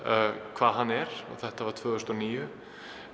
hvað hann er þetta var tvö þúsund og níu